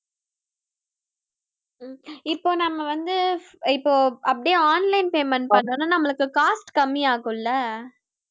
இப்போ நம்ம வந்து இப்போ அப்படியே online payment பண்றோம்னா நம்மளுக்கு cost கம்மியாகும்ல